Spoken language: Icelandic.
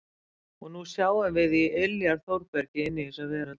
Og nú sjáum við í iljar Þórbergi inn í þessa veröld.